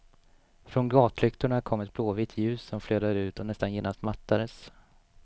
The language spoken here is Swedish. Från gatlyktorna kom ett blåvitt ljus som flödade ut och nästan genast mattades.